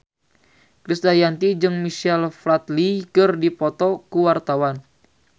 Krisdayanti jeung Michael Flatley keur dipoto ku wartawan